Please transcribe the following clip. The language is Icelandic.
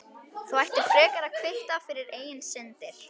Þú ættir frekar að kvitta fyrir eigin syndir.